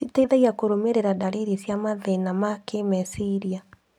citeithagia kũrũmĩrĩra ndarĩrĩ cia mathĩna ma kĩmeciria.